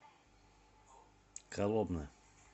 коломна